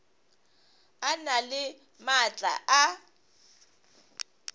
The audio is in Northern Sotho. a na le maatla a